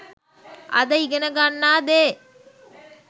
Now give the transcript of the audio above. අද ඉගෙනගන්නා දේ